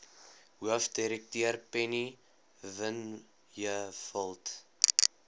hoofdirekteur penny vinjevold